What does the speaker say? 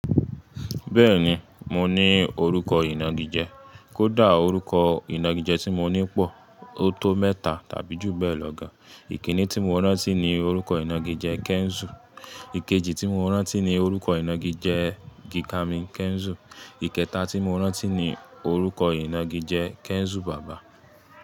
Bẹ́ẹ̀ni, mo ní orúkọ ìnagijẹ, kódà orúkọ ìnagijẹ tí mo ní pọ̀, ó tó mẹ́ta tàbí ju bẹ́ẹ̀ lọ gan. Ìkíní tí mo rántí ni orúkọ ìnagijẹ Kẹ́ńsù. Ikeji tí mo rántí ni orúkọ ìnagijẹ Gíkámí Kẹ́ńsù. Ìkẹta tí mo rántí ni orúkọ ìnagijẹ Kẹ́ńsù bàbá.